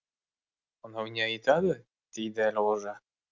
мынау не айтады дейді әлғожа